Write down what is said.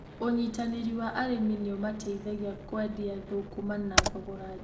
Ũnyitanĩri wa arĩmi nĩũmateithagia kũendia thũkũma na thogora mwega.